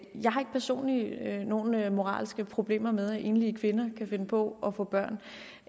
personligt nogen moralske problemer med at enlige kvinder kan finde på at få børn